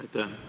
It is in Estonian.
Aitäh!